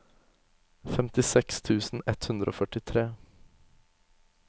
femtiseks tusen ett hundre og førtitre